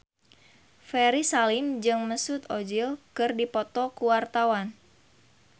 Ferry Salim jeung Mesut Ozil keur dipoto ku wartawan